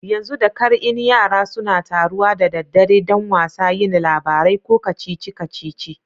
Yanzu da kar in Yara suna taruwa da daddare dan wasa, yin labarai ko kacici kacici.